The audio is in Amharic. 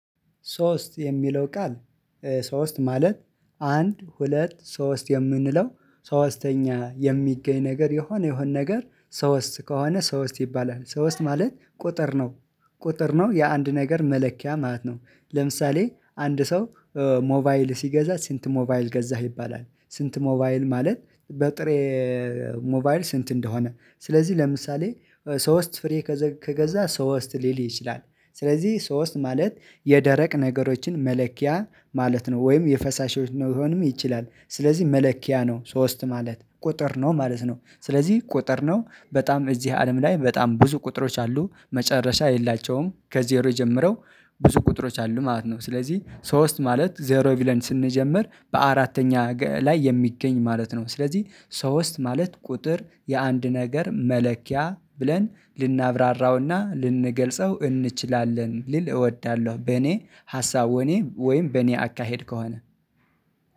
ሶስት የሚለው ቃል ሶስት ማለት አንድ ሁለት ሶስት የምንለው ሶስተኛ የሚገኝ ነገር የሆነ የሆነ ነገር ሶስት ከሆነ ሶስት ይባላል ሶስት ማለት ቁጥር ነው። ቁጥር የአንድ ነገር መለኪያ ማለት ነው። ለምሳሌ አንድ ሰው ሞባይል ሲገዛ ስንት ሞባይል ገዛህ ይባላል ስንት ሞባይል ማለት በጥሬ ሞባይል ስንት እንደሆነ? ስለዚህ ለምሳሌ ሶስት ፍሬ ከገዛ ሶስት ሊል ይችላል። ስለዚህ ሶስት ማለት የደረቅ ነገሮችን መለኪያ ማለት ነው ወይም የፈሳሽ መሆንም ይችላል። ስለዚህ መለኪያ ነው ሶስት ማለት ቁጥር ነው ማለት ነው። ስለዚህ ቁጥር ነው በጣም እዚህ አለም ላይ በጣም ብዙ ቁጥሮች አሉ። መጨረሻ የላቸውም ከዜሮ የጀመረው ብዙ ቁጥሮች አሉ ማለት ነው። ስለዚህ ሶስት ማለት ዜሮ ብለን ስንጀምር በአራተኛ ላይ የሚገኝ ማለት ነው። ስለዚህ ሶስት ማለት ቁጥር የአንድ ነገር መለኪያ ብለን ልናብራራውና ልንገልጸው እንችላለን ልል እወዳለሁ። በኔ ሀሳቦኔ ወይም በእኔ አካሄድ ከሆነ